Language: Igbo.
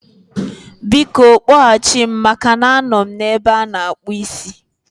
Biko, kpọghachi m maka na anọ m n'ebe ana-akpụ ísí